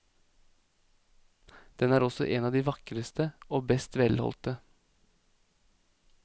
Den er også en av de vakreste og best velholdte.